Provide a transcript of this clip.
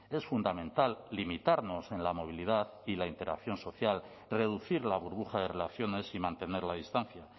es fundamental limitarnos en la movilidad y la interacción social reducir la burbuja de relaciones y mantener la distancia